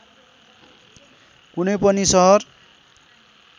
कुनै पनि सहर